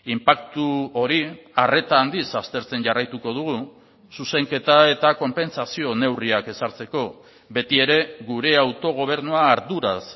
inpaktu hori arreta handiz aztertzen jarraituko dugu zuzenketa eta konpentsazio neurriak ezartzeko beti ere gure autogobernua arduraz